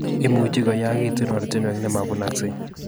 Imuchi koyakitu ortinwek nemabunaksei